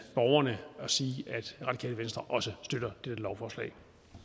borgerne og sige at radikale venstre også støtter dette lovforslag